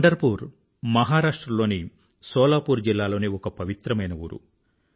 పండర్ పూ మహరాష్ట్ర లోని సోలాపూర్ జిల్లా లోని ఒక పవిత్రమైన ఊరు